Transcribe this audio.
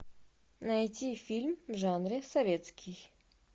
найти фильм в жанре советский